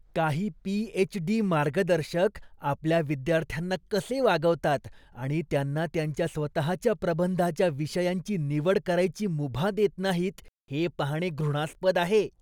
काही पी.एच.डी. मार्गदर्शक आपल्या विद्यार्थ्यांना कसे वागवतात आणि त्यांना त्यांच्या स्वतःच्या प्रबंधाच्या विषयांची निवड करायची मुभा देत नाहीत हे पाहणे घृणास्पद आहे.